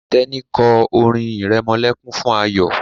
Teni kọ orin iremolekun fún Ayo.